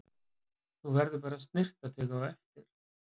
Þú verður bara að snyrta þig á eftir.